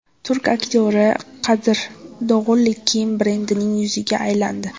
Turk aktyori Kadir Dog‘uli kiyim brendining yuziga aylandi.